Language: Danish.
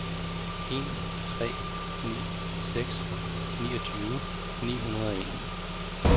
en tre ni seks niogtyve ni hundrede og en